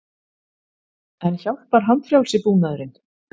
En hjálpar handfrjálsi búnaðurinn?